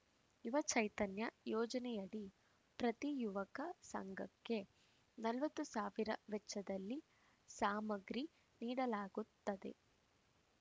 ಯುವ ಚೈತನ್ಯ ಯೋಜನೆಯಡಿ ಪ್ರತಿ ಯುವಕ ಸಂಘಕ್ಕೆ ನಲವತ್ತು ಸಾವಿರ ವೆಚ್ಚದಲ್ಲಿ ಸಾಮಗ್ರಿ ನೀಡಲಾಗುತ್ತದೆ